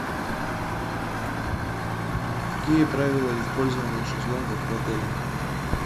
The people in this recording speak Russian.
какие правила использования шезлонгов в отеле